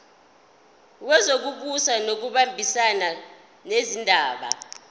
wezokubusa ngokubambisana nezindaba